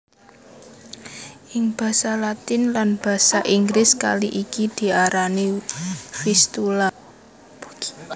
Ing basa Latin lan basa Inggris kali iki diarani Vistula